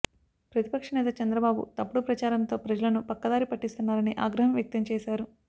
ప్రతిపక్ష నేత చంద్రబాబు తప్పుడు ప్రచారంతో ప్రజలను పక్కదారి పట్టిస్తున్నారని ఆగ్రహం వ్యక్తం చేశారు